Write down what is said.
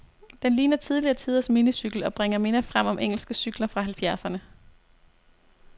Den ligner tidligere tiders minicykel, og bringer minder frem om engelske cykler fra halvfjerdserne.